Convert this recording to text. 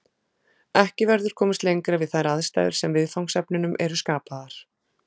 Ekki verður komist lengra við þær aðstæður sem viðfangsefnunum eru skapaðar.